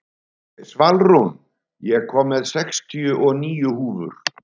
Svalrún, ég kom með sextíu og níu húfur!